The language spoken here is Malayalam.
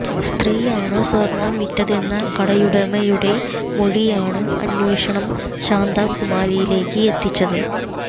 സ്ത്രീയാണ് സ്വര്ണ്ണം വിറ്റതെന്ന കടയുടമയുടെ മൊഴിയാണ് അന്വേഷണം ശാന്തകുമാരിയിലേയ്ക്ക് എത്തിച്ചത്